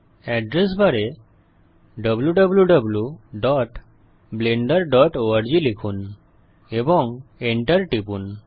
address বারে wwwblenderorg লিখুন এবং Enter টিপুন